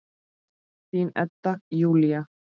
Þín Edda Júlía.